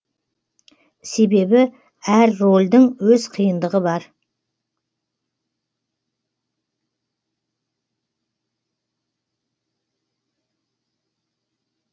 себебі әр рөлдің өз қиындығы бар